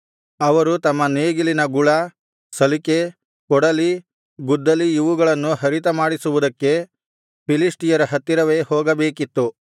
ಅವರು ತಮ್ಮ ನೇಗಿಲಿನ ಗುಳ ಸಲಿಕೆ ಕೊಡಲಿ ಗುದ್ದಲಿ ಇವುಗಳನ್ನು ಹರಿತ ಮಾಡಿಸುವುದಕ್ಕೆ ಫಿಲಿಷ್ಟಿಯರ ಹತ್ತಿರವೇ ಹೋಗಬೇಕಿತ್ತು